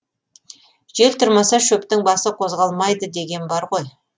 жел тұрмаса шөптің басы қозғалмайды деген бар ғой